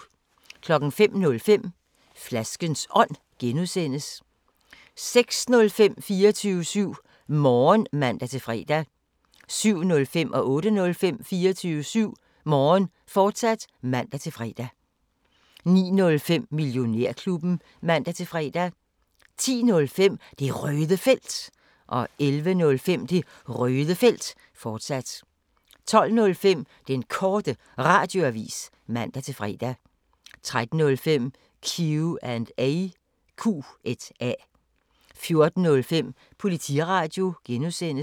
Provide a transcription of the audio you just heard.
05:05: Flaskens Ånd (G) 06:05: 24syv Morgen (man-fre) 07:05: 24syv Morgen, fortsat (man-fre) 08:05: 24syv Morgen, fortsat (man-fre) 09:05: Millionærklubben (man-fre) 10:05: Det Røde Felt 11:05: Det Røde Felt, fortsat 12:05: Den Korte Radioavis (man-fre) 13:05: Q&A 14:05: Politiradio (G)